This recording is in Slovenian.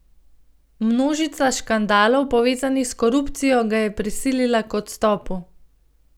Množica škandalov, povezanih s korupcijo, ga je prisilila k odstopu.